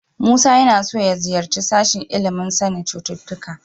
Musa yana so ya ziyarci sashen ilimin sanin cututtuka.